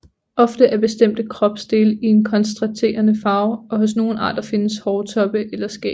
Ofte er bestemte kropsdele i en kontrasterende farve og hos nogle arter findes hårtoppe eller skæg